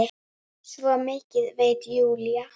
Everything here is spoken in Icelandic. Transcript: Svo mikið veit Júlía.